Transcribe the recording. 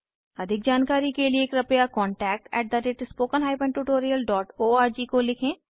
अधिक जानकारी के लिए कृपया contactspoken tutorialorg को लिखें